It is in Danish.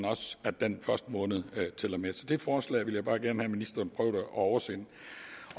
også at den første måned tæller med så det forslag vil jeg bare gerne have at ministeren prøvede at oversende